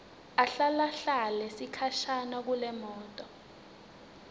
ahlalahlale sikhashana kulemoto